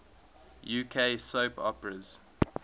uk soap operas